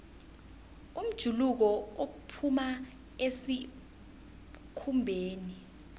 umjuluko uphuma esikhumbeni